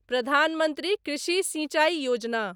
Pradhan Mantri Krishi Sinchai Yojana